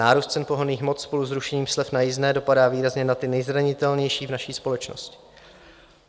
Nárůst cen pohonných hmot spolu s rušením slev na jízdné dopadá výrazně na ty nejzranitelnější v naší společnosti.